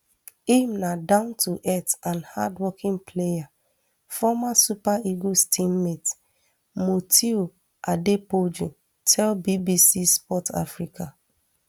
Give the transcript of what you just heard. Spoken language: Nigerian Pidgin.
im na downtoearth and hardworking player former super eagles teammate mutiu adepoju tell bbc sport africa